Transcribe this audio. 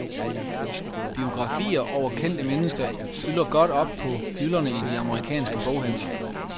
Biografier over kendte mennesker fylder godt op på hylderne i de amerikanske boghandler.